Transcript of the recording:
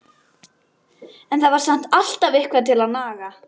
En það var samt alltaf eitthvað til að naga.